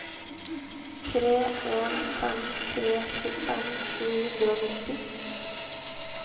tre en fem tre tjuefem sju hundre og nitti